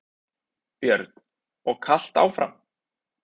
Björn: Og kalt áfram?